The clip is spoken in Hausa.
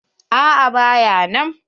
A'a ba ya nan.